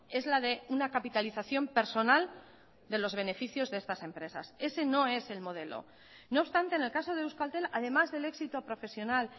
es la de una capitalización personal de los beneficios de estas empresas ese no es el modelo no obstante en el caso de euskaltel además del éxito profesional